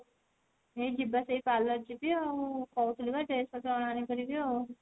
ଏଇ ଯିବା ସେଇ parlour ଯିବି ଆଉ କହୁଥିଲୁ ବା dress ପତ୍ର ଅଣା ଅଣି କରିବି ଆଉ